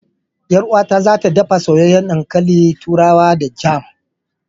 Yar uwata za ta ɗafa soyayyen ɗankalin turawa da jam.